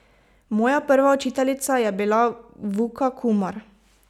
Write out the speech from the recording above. Moja prva učiteljica je bila Vuka Kumar.